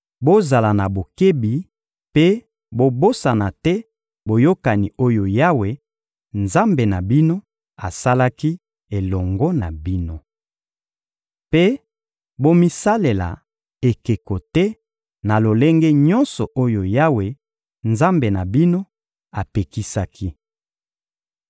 Bozala na bokebi mpe bobosana te boyokani oyo Yawe, Nzambe na bino, asalaki elongo na bino. Mpe bomisalela ekeko te na lolenge nyonso oyo Yawe, Nzambe na bino, apekisaki.